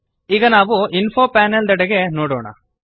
ಈಗ ನಾವು info panel ದೆಡೆಗೆ ನೋಡೋಣ